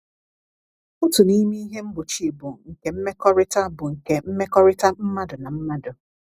Otu n’ime ihe mgbochi bụ nke mmekọrịta bụ nke mmekọrịta mmadụ na mmadụ.